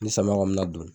Ni samiya kɔni na don